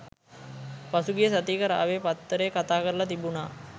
පසුගිය සතියක රාවය පත්තරේ කතා කරලා තිබුනා